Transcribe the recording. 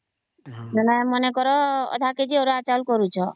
ମାନେ କର ଅଧା KG ଅରୁଆ ଚାଉଳ କରୁଛ